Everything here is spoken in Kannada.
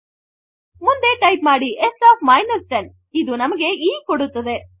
ಮುಂದೆ ಟೈಪ್ ಮಾಡಿ s ಒಎಫ್ 10 ಇದು ನಮಗೆ e ಕೊಡುತ್ತದೆ